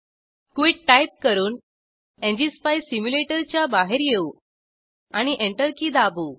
quit type करून NGSpice सिम्युलेटरच्या बाहेर येऊ आणि एंटर की दाबू